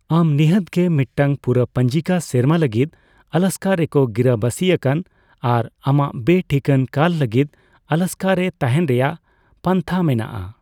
ᱟᱢ ᱱᱤᱦᱟᱹᱛ ᱜᱮ ᱢᱤᱫᱴᱟᱝ ᱯᱩᱨᱟᱹ ᱯᱚᱧᱡᱤᱠᱟ ᱥᱮᱨᱢᱟ ᱞᱟᱹᱜᱤᱫ ᱟᱞᱟᱥᱠᱟ ᱨᱮᱠᱚ ᱜᱤᱨᱟᱹᱵᱟᱥᱤ ᱟᱠᱟᱱ ᱟᱨ ᱟᱢᱟᱜ ᱵᱮᱼᱴᱷᱤᱠᱟᱹᱱ ᱠᱟᱞ ᱞᱟᱹᱜᱤᱫ ᱟᱞᱟᱥᱠᱟ ᱨᱮ ᱛᱟᱦᱮᱸᱱ ᱨᱮᱭᱟᱜ ᱯᱟᱱᱛᱷᱟ ᱢᱮᱱᱟᱜᱼᱟ ᱾